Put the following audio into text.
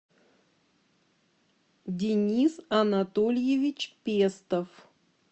денис анатольевич пестов